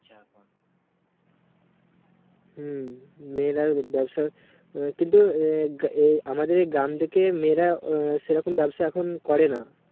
হুম মেয়েরাই ব্যাবসায় আহ কিন্তু আহ এই আমাদের গ্রাম দিকে মেয়েরা আহ সেরকম ব্যবসা এখন করে না